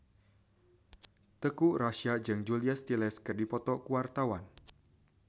Teuku Rassya jeung Julia Stiles keur dipoto ku wartawan